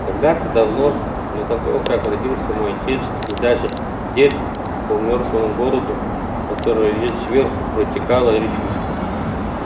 когда-то давно до того как родился мой отец и даже дед по мёртвому городу который лежит сверху протекала речушка